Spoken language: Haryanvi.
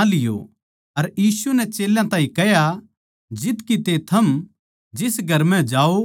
अर यीशु नै चेल्यां ताहीं कह्या जित किते थम जिस घर म्ह जाओ